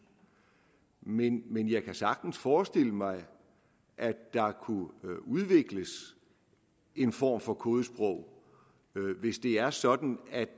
men men jeg kan sagtens forestille mig at der kunne udvikles en form for kodesprog hvis det er sådan at